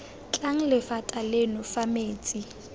tlang lephata leno fa metsi